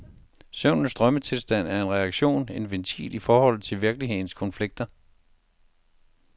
Søvnens drømmetilstand er en reaktion, en ventil i forhold til virkelighedens konflikter.